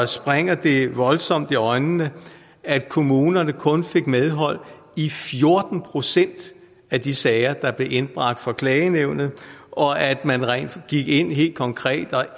springer det voldsomt i øjnene at kommunerne kun fik medhold i fjorten procent af de sager der blev indbragt for klagenævnet og at man gik ind helt konkret og